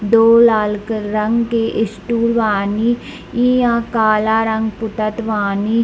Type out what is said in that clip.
दो लाल क रंग के स्टूल बानी इ यहाँ काला रंग पुतत बानी।